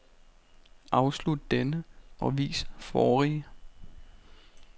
Afslut denne og vis forrige.